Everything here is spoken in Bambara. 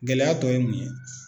Gɛlɛya tɔ ye mun ye